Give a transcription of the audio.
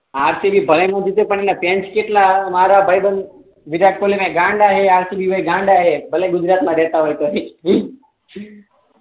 RCB ભલે ના જીતે પણ એસ ફેન કેટલા મારા ભાઈબન્દ વિરાટ કોહલી ના ગાંડા હે આરસીબી ના ગાંડા ભલે ગુજરાત મા રેહતા હોય તો ઠીક